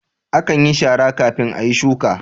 Akan yin shara kafin ayi shuka